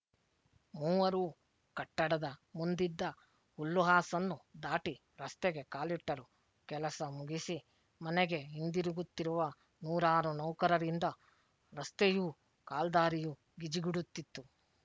ಮೂವರೂ ಕಟ್ಟಡದ ಮುಂದಿದ್ದ ಹುಲ್ಲುಹಾಸನ್ನು ದಾಟಿ ರಸ್ತೆಗೆ ಕಾಲಿಟ್ಟರು ಕೆಲಸ ಮುಗಿಸಿ ಮನೆಗೆ ಹಿಂದಿರುಗುತ್ತಿರುವ ನೂರಾರು ನೌಕರರಿಂದ ರಸ್ತೆಯೂ ಕಾಲ್ದಾರಿಯೂ ಗಿಜಿಗುಡುತ್ತಿತ್ತು